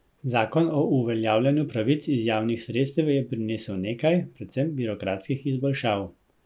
Zakon o uveljavljanju pravic iz javnih sredstev je prinesel nekaj, predvsem birokratskih izboljšav.